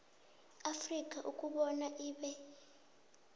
afrika ukobana ibe